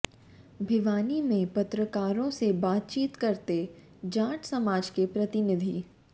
भिवानी में पत्रकारों से बातचीत करते जाट समाज के प्रतिनिधि